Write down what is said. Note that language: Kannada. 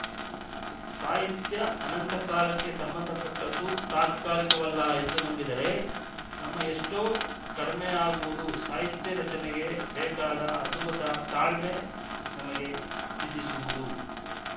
ಸಾಹಿತ್ಯ ಅನಂತಕಾಲಕ್ಕೆ ಸಂಬಂಧಪಟ್ಟದ್ದು ತತ್ಕಾಲಿಕವಲ್ಲ ಎಂದು ನಂಬಿದರೆ ನಮ್ಮ ಎಷ್ಟೋ ಕಡಿಮೆಯಾಗುವುದು ಸಾಹಿತ್ಯ ರಚನೆಗೆ ಬೇಕಾದ ಅದ್ಭುತ ತಾಳ್ಮೆ ನಮಗೆ ಸಿದ್ಧಿಸುವುದು